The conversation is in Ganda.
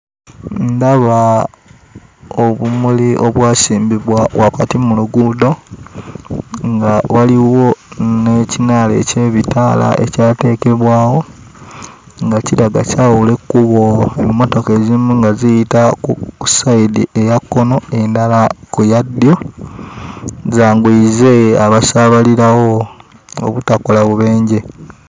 Ndaba obumuli obwasimbibwa wakati mu luguudo nga waliwo n'ekinaala eky'ebitaala ekyateekebwawo nga kiraga kyawula ekkubo emmotoka ezimu nga ziyita ku sayidi eya kkono, endala ku ya ddyo, zanguyize abasaabalirawo obutakola bubenje.